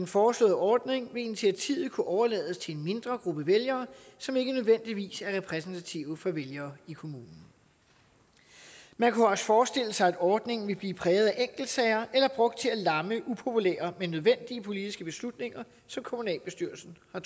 foreslåede ordning vil initiativet kunne overlades til en mindre gruppe vælgere som ikke nødvendigvis er repræsentative for vælgere i kommunen man kunne også forestille sig at ordningen ville blive præget af enkeltsager eller brugt til at lamme upopulære men nødvendige politiske beslutninger som kommunalbestyrelsen har